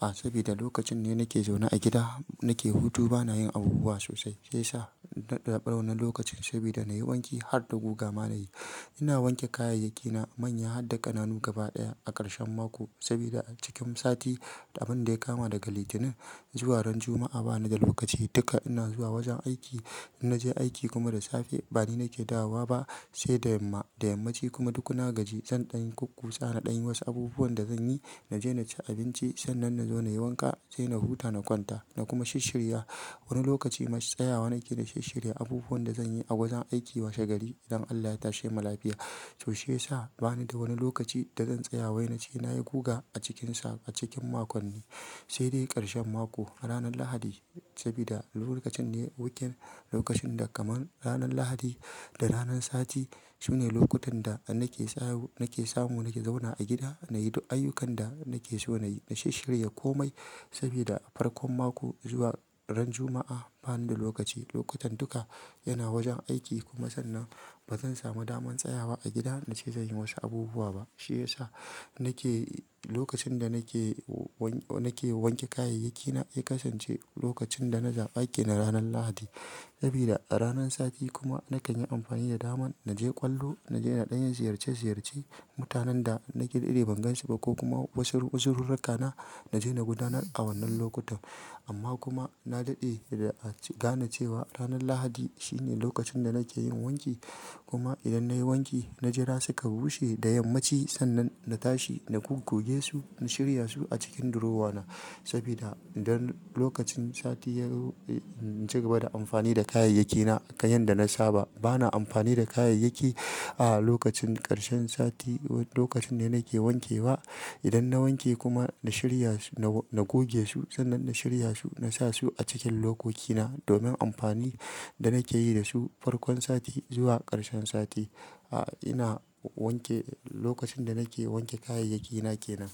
A sabida lokacin ne nake zauna a gida nake hutu bana yin abubuwa sosai. Sai sa ɗa ɓauna lokacin sabida na yi wanki har da guga ma na yi. Ina wanke kayayyakki na manya har da ƙananu gaba ɗaya a ƙarshen mako sabida cikin sati, abin da ya kama daga Litinin zuwa ran Juma'a bana da lokaci duka ina zuwa wajen aiki. In naje aiki kuma da safe bani nake dawowa ba sai da yamma, da yammaci kuma duk na gaji zan ɗanyi kurkusa, na ɗanyi wasu abubuwan da zan yi. Naje na ci abinci sannan na zo na yi wanka sai na huta na kwanta na kuma shirirya wani lokaci masu tsayawa nake na shirya abubuwan da zanyi a wajen aiki washe gari idan Allah ya tashe ma lafiya. To shiya sa bani da wani lokaci da zan tsaya wai nace nayi goga a cikinsa a cikin makon ne. Sai dai ƙarshen mako a ranar Lahadi sabida lokacin ne weekend, lokacin da kamar ranar Lahadi da ranan Sati sune lokutan da nake samu nake zauna a gida nayi duk ayyukan da nake so nayi, na shirya komai sabida farkon mako zuwa ran Juma'a bani da lokaci. Lokutan duka yana wajen aiki kuma sannan bazan samu daman tsayawa a gida nace zanyi wasu abubuwa ba. Shi ya sa nake lokacin da nake nake wanke kayayyakki na, ya kasance lokacin da naza aiki na ranar Lahadi sabida a ranan Sati kuma nakan yi amfani da daman naje ƙwallo, naje na ɗanyi ziyarce ziyarce mutanen da nake da ire ban gansu ba ko kuma wasu wuzurina na naje na gudanar a wannan lokutan. Amma kuma na daɗe da a gane cewa ranar Lahadi shine lokacin da nake yin wanki. Kuma idan nayi wanki na jira suka bushe da yammaci sannan na tashi na goge su, na shirya su a cikin durowa na sabida don lokacin Sati yazo ci gaba da amfani da kayayyakki na akan yanda na saba. Bana amfani da kayayyaki a lokacin ƙarshen Sati lokacin ne nake wanke wa. Idan na wanke kuma na shirya su na goge su sannan na shirya su na sa su a cikin lokoki na domin amfani da nake yi da su farkon Sati zuwa ƙarshen Sati. A ina wanke lokacin da nake wanke kayayyaki na ke nan.